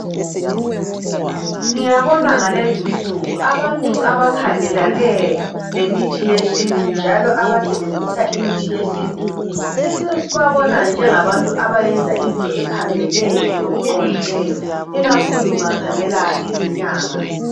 Ngiyabona ngalezinsuku abantu abakhangelane lemithi yesiNtu njalo abasebenzisa imithi yesiNtu sesibabona njengabantu abayenza into ephambene lokuqondileyo ikakhulu ungakhangela izinyanga.